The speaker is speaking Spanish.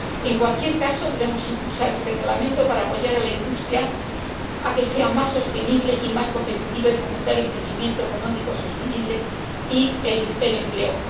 En cualquier caso, debemos impulsar este Reglamento para apoyar a la industria a fin de que sea más sostenible y más competitiva y fomentar el crecimiento económico sostenible y el empleo.